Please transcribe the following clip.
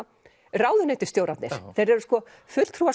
ráðuneytisstjórarnir þeir eru fulltrúar